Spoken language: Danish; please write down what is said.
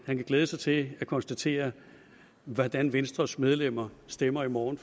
han kan glæde sig til at konstatere hvordan venstres medlemmer stemmer i morgen